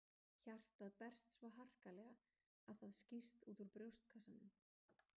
Hjartað berst svo harkalega að það skýst úr brjóstkassanum.